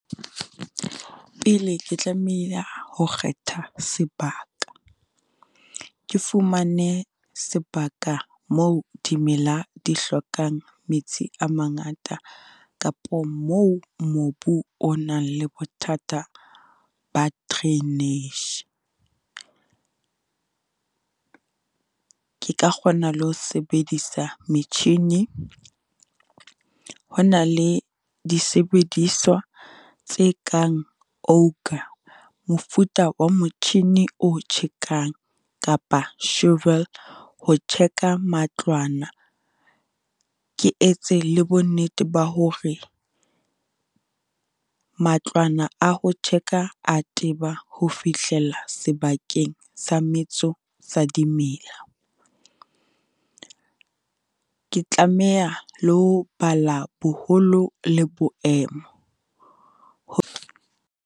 Pele ke tlamehile ho kgetha sebaka, ke fumane sebaka moo dimela di hlokang metsi a mangata, kapo moo mobu o nang le bothata ba drainage. Ke ka kgona le ho sebedisa metjhini. Ho na le disebediswa tse kang ouka, mofuta wa motjhini o tjhekang kapa shovel, ho check-a matlwana. Ke etse le bonnete ba hore matlwana a ho check-a a teba ho fihlela sebakeng sa metso sa dimela. Ke tlameha le ho bala boholo le boemo, ho.